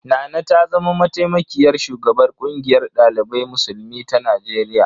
Nana ta zama mataimakiyar shugabar ƙungiyar ɗalibai musulmi ta Najeriya.